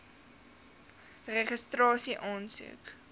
registrasieaansoek